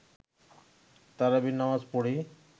তারাবি নামাজ পড়ি